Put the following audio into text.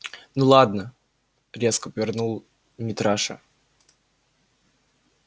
ну ладно резко повернул митраша